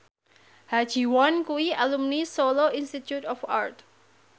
Ha Ji Won kuwi alumni Solo Institute of Art